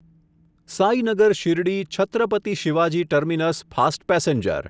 Sainagar Shirdi Chhatrapati Shivaji terminus fast passenger